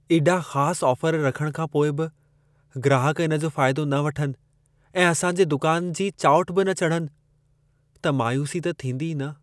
एॾा ख़ास ऑफर रखण खां पोइ बि ग्राहक इन जो फाइदो न वठनि ऐं असां जे दुकान जी चाऊंठ बि न चढ़नि, त मायूसी त थींदी ई न।